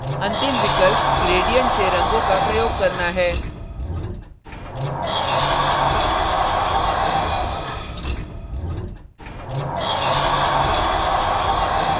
अंतिम विकल्प gradients से रंगों का प्रयोग करना है